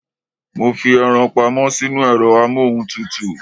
Mo fi eran pamọ́ sínú ẹ̀rọ amóhuntutù